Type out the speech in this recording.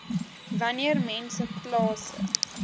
wanneer mense plase